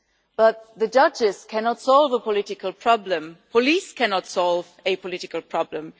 But the judges cannot solve a political problem, police cannot solve a political problem.